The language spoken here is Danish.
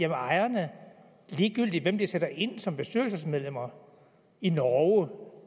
om ejerne ligegyldigt hvem de sætter ind som bestyrelsesmedlemmer i norge